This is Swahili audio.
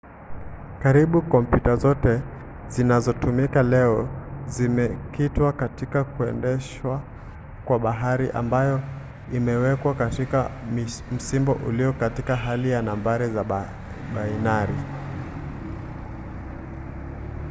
karibu kompyuta zote zinazotumika leo zimekitwa katika kuendeshwa kwa habari ambayo imewekwa katika msimbo ulio katika hali ya nambari za bainari